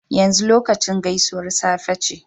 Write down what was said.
Yanzu lokacin gaisuwar safe ce